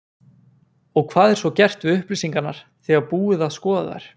Og hvað er svo gert við upplýsingarnar þegar búið að skoða þær?